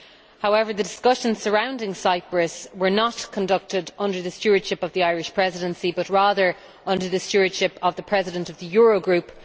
However, the discussions surrounding Cyprus were not conducted under the stewardship of the Irish Presidency but rather under the stewardship of the President of the Eurogroup.